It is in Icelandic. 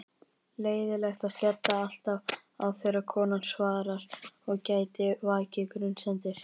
Leiðinlegt að skella alltaf á þegar konan svarar og gæti vakið grunsemdir.